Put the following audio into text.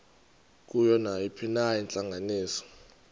kuyo nayiphina intlanganiso